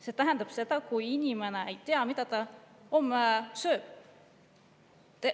See tähendab seda, et inimene ei tea, mida ta homme sööb.